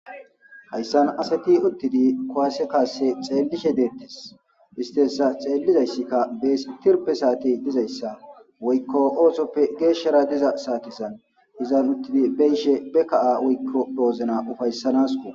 Haysan asati utidi kuwase kase xelishe detes isti hsa xelizayska bese dizaysa woyko osopr geshara diza sateko izan utidi beyishe be kaha woyko wozan ufaysakko